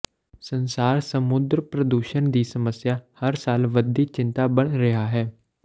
ਸੰਸਾਰ ਸਮੁੰਦਰ ਪ੍ਰਦੂਸ਼ਣ ਦੀ ਸਮੱਸਿਆ ਹਰ ਸਾਲ ਵਧਦੀ ਚਿੰਤਾ ਬਣ ਰਿਹਾ ਹੈ